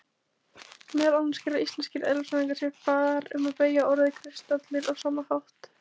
Meðal annars gera íslenskir eðlisfræðingar sér far um að beygja orðið kristallur á sama hátt.